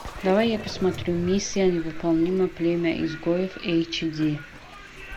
давай я посмотрю миссия невыполнима племя изгоев эйчди